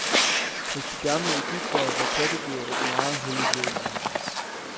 Hos de gamle egyptere var kattedyret et meget helligt væsen.